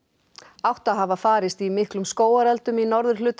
átta hafa farist í miklum skógareldum í norðurhluta